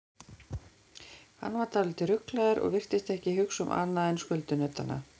Hann var dálítið ruglaður og virtist ekki hugsa um annað en skuldunautana.